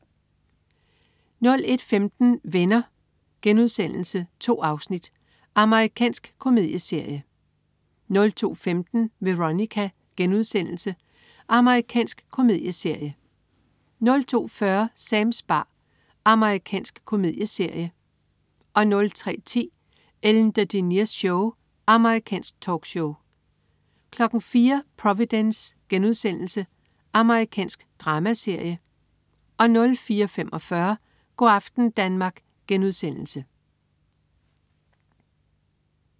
01.15 Venner.* 2 afsnit. Amerikansk komedieserie 02.15 Veronica.* Amerikansk komedieserie 02.40 Sams bar. Amerikansk komedieserie 03.10 Ellen DeGeneres Show. Amerikansk talkshow 04.00 Providence.* Amerikansk dramaserie 04.45 Go' aften Danmark*